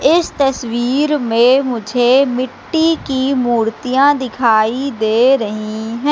इस तस्वीर में मुझे मिट्टी की मूर्तियां दिखाई दे रहीं हैं।